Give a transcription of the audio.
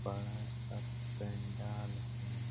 बड़ा-सा पेनडाल है।